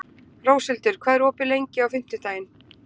Róshildur, hvað er opið lengi á fimmtudaginn?